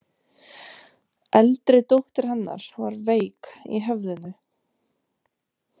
Eldri dóttir hennar var veik í höfðinu.